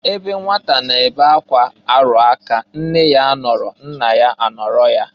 Ebe nnwata na-ebe akwa arụ aka nne ya anọrọ nna ya anọrọ ya.